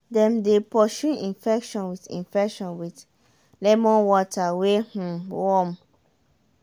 dem dey pursue infection with infection with lemon water wey um warm.